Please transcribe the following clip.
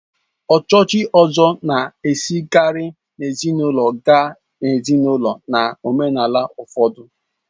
Echuchi Ozor na-esikarị n'ezinaụlọ gaa n'ezinaụlọ na omenala ụfọdụ